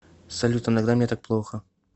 салют иногда мне так плохо